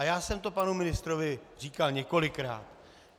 A já jsem to panu ministrovi říkal několikrát.